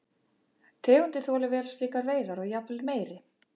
Tegundin þolir vel slíkar veiðar og jafnvel meiri.